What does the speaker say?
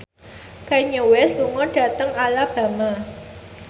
Kanye West lunga dhateng Alabama